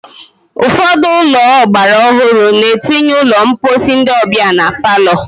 Ụfọdụ ụlọ ọgbara ọhụrụ na-etinye ụlọ mposi ndị ọbịa na palọ.